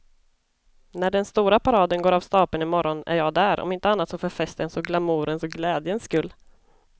När den stora paraden går av stapeln i morgon är jag där, om inte annat så för festens och glamourens och glädjens skull.